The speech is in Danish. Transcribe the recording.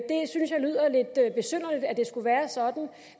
det skulle være sådan